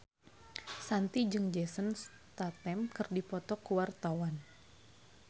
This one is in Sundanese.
Shanti jeung Jason Statham keur dipoto ku wartawan